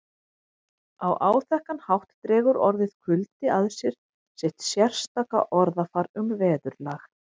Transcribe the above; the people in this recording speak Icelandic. Á áþekkan hátt dregur orðið kuldi að sér sitt sérstaka orðafar um veðurlag